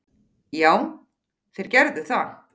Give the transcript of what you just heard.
Já, þeir gerðu það.